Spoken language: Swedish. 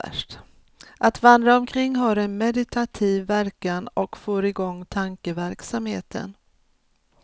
Att vandra omkring har en meditativ verkan och får igång tankeverksamheten.